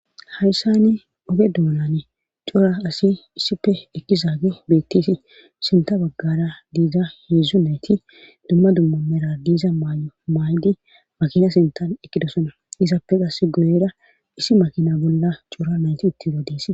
hayssani oge duunane cora asi issife ekki zaage beetteesi sinta baggara diiza heedzdzu nayti dumma dumma mera diiza maay7o maaydi makina sintan ekkidosona isappe qas goyera issi makina bolla cora nayti uttiza dees